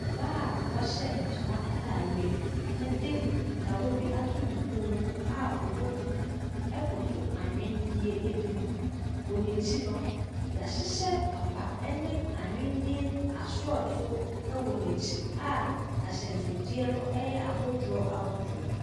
Ɔbaa w'ahyɛ ntoma ataareɛ ɛdi kawa bi ato ne kɔn mu a ɔbɔ duku ɛkoto ahwendiɛ bi ebi ho. Wɔ n'ekyi no y'ahyehyɛ papa ɛne ahwendiɛ asorɔto ɛwɔ n'ekyi a ahyɛnsodeɛ no ɛyɛ ahodoɔ ahodoɔ.